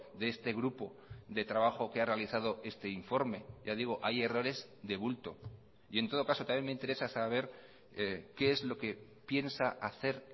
de este grupo de trabajo que ha realizado este informe ya digo hay errores de bulto y en todo caso también me interesa saber qué es lo que piensa hacer